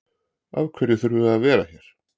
Af hverju þurfum við að vera hér?